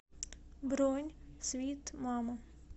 бронь свит мама